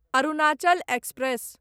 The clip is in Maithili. अरुणाचल एक्सप्रेस